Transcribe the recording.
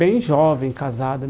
Bem jovem, casado.